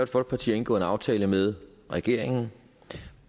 folkeparti har indgået en aftale med regeringen